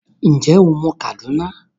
Ǹjẹ́ o mọ Kaduna?